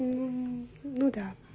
ну ну да